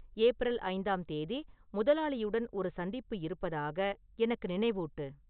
April ஐந்தாம் தேதி முதலாளியுடன் ஒரு சந்திப்பு இருப்பதாக எனக்கு நினைவூட்டு